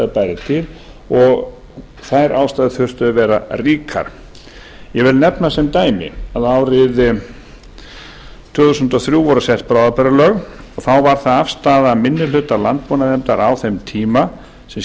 bæri til og þær ástæður þyrftu að vera ríkar ég vil nefna sem dæmi að árið tvö þúsund og þrjú voru sett bráðabirgðalög og þá var það afstaða minni hluta landbúnaðarnefndar á þeim tíma sem